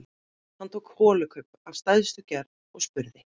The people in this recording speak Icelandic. Hann tók holukubb af stærstu gerð og spurði: